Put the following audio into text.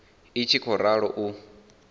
i tshi khou ralo u